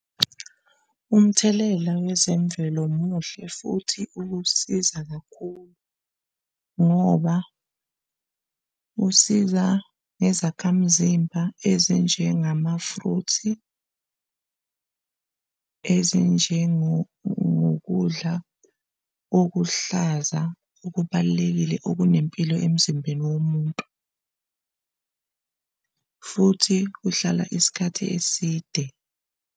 Umthelela wezemvelo muhle futhi ukusiza kakhulu ngoba usiza nezakhamzimba ezinjengamafruthi ezinjengokudla okuhlaza okubalulekile okunempilo emzimbeni womuntu futhi uhlala isikhathi eside.